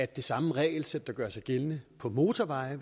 det samme regelsæt der gør sig gældende for motorveje